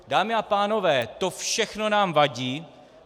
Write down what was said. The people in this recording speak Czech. Dámy a pánové, to všechno nám vadí.